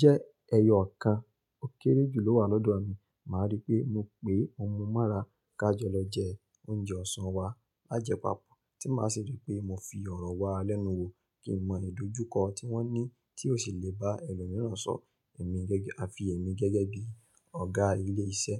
Jẹ́ ẹyọ ọ̀kan ó kéré jù lo wà lọ́dọ̀ mi, màá rí pé mo pe mo mu mọra ká jọ lọ jẹ oúnjẹ ọ̀sán wa lájẹ̀ papọ̀. Tí màá ṣe rí pé mo fi ọ̀rọ̀ wá lẹ́nu wo kí n mọ ìdojúkọ tí wọ́n ní tí ó sì lè bá ẹlòmíràn sọ àfi èmi gẹ́gẹ́ bí ọ̀gá ilé iṣẹ́.